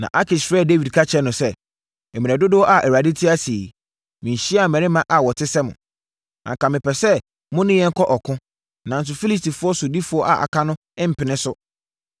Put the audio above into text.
Na Akis frɛɛ Dawid ka kyerɛɛ no sɛ, “Mmerɛ dodoɔ a Awurade te ase yi, menhyiaa mmarima a wɔte sɛ mo, anka mepɛ sɛ mo ne yɛn kɔ ɔko, nanso Filistifoɔ sodifoɔ a aka no mpene so.